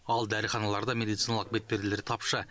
ал дәріханаларда медициналық бетперделер тапшы